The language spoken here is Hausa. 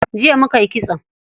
Jiya muka yi kitso.